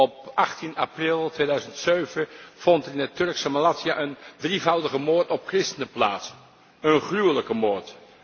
Op 18 april 2007 vond in het Turkse Malatya een drievoudige moord op christenen plaats, een gruwelijke moord.